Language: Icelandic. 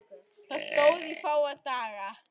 Það stóð í fáa daga.